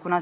Kuna